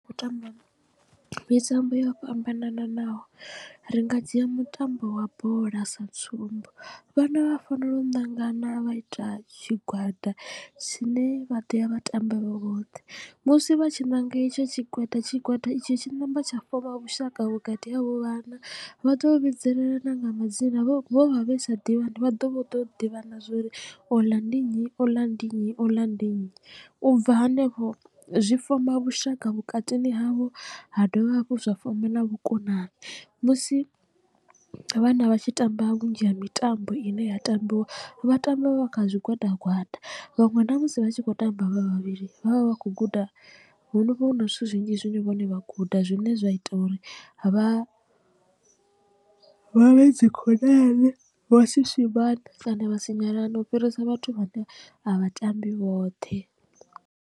U tamba mitambo yo fhambananaho ri nga dzhia mutambo wa bola sa tsumbo vhana vha fanela u ṋangana vha ita tshigwada tshine vha ḓo ya vha tamba vhe vhoṱhe musi vha tshi ṋanga etsho tshigwada tshigwada itsho tshi namba tsha foma vhushaka vhukati havho vhana vha to vhidzelela na nga madzina vho vha vhe sa ḓivhani vha ḓo ḓivha na zwori ola ndi nnyi ola ndi nnyi ola ndi nnyi. U bva hanefho zwi foma vhushaka vhukatini havho ha dovha hafhu zwa foma na vhukonani musi vhana vha tshi tamba vhunzhi ha mitambo ine ya tambiwa vha tamba vha kha zwigwada gwada vhaṅwe na musi vha tshi kho tamba vha vhavhili vhavha vha khou guda hu vha hu na zwithu zwinzhi zwine vhone vha guda zwine zwa ita uri vha vhe dzi khonani vhasi swimane kana vha sinyalane na u fhirisa vhathu vhane a vhatambi vhoṱhe.